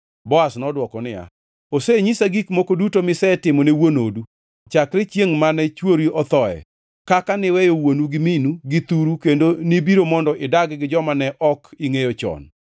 Boaz nodwoko niya, “Osenyisa gik moko duto misetimone wuon odu chakre chiengʼ mane chwori othoe; kaka niweyo wuonu gi minu gi thuru kendo nibiro mondo idag gi joma ne ok ingʼeyo chon.